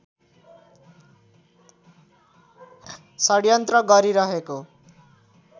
षडयन्त्र गरिरहेको